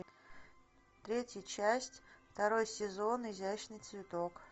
третья часть второй сезон изящный цветок